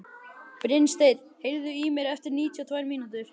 Brynsteinn, heyrðu í mér eftir níutíu og tvær mínútur.